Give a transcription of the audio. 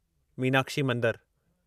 मीनाक्षी मंदरु